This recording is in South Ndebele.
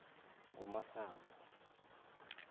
ngumasango